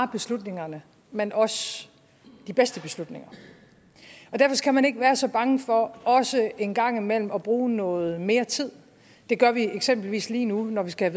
beslutningerne men også de bedste beslutninger derfor skal man ikke være så bange for også en gang imellem at bruge noget mere tid det gør vi eksempelvis lige nu når vi skal